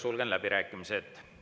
Sulgen läbirääkimised.